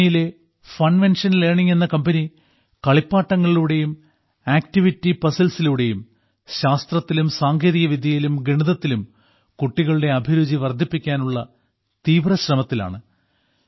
പൂനെയിലെ Funvention learning എന്ന കമ്പനി കളിപ്പാട്ടങ്ങളിലൂടെയും ആക്ടിവിറ്റി പസിൽസിലൂടെയും ശാസ്ത്രത്തിലും സാങ്കേതികവിദ്യയിലും ഗണിതത്തിലും കുട്ടികളുടെ അഭിരുചി വർദ്ധിപ്പിക്കാനുള്ള തീവ്ര ശ്രമത്തിലാണ്